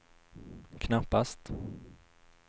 knappast